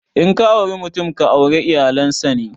In ka auri mutum, ka aure iyalan sa ne.